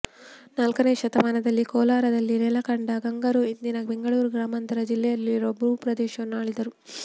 ನಾಲ್ಕನೆಯ ಶತಮಾನದಲ್ಲಿ ಕೋಲಾರದಲ್ಲಿ ನೆಲೆಕಂಡ ಗಂಗರು ಇಂದಿನ ಬೆಂಗಳೂರು ಗ್ರಾಮಾಂತರ ಜಿಲ್ಲೆಯಿರುವ ಭೂ ಪ್ರದೇಶವನ್ನು ಆಳಿದರು